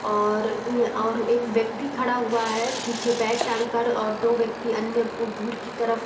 और और एक व्यक्ति खड़ा हुआ है | पीछे बैग टांगकर और दो व्यक्ति अन्य दूर के तरफ --